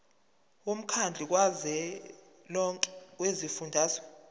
womkhandlu kazwelonke wezifundazwe